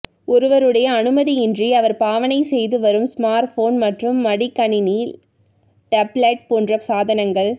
ஒருவருடைய அனுமதி இன்றி அவர் பாவனை செய்து வரும் ஸ்மார் போன் மற்றும் மடிக்கணினி டெப்லட் போன்ற சாதனங்கள